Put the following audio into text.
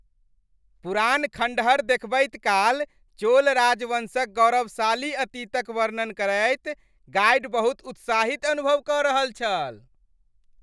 पुरान खंडहर देखबैत काल, चोल राजवंशक गौरवशाली अतीतक वर्णन करैत गाइड बहुत उत्साहित अनुभव कऽ रहल छल।